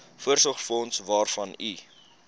voorsorgsfonds waarvan u